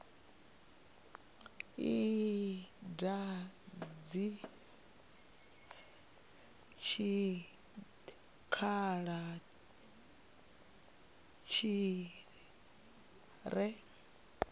i dadze tshikhala tshi re